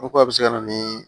O ko a bi se ka na ni